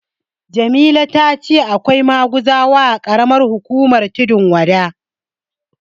Jamila ta ce akwai maguzawa a ƙaramar hukumar Tundun Wada.